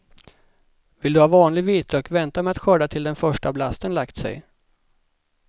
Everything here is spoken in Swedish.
Vill du ha vanlig vitlök vänta med att skörda till den första blasten lagt sig.